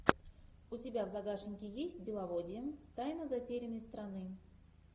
у тебя в загашнике есть беловодье тайна затерянной страны